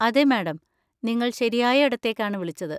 അതെ, മാഡം! നിങ്ങൾ ശരിയായ ഇടത്തേക്കാണ് വിളിച്ചത്.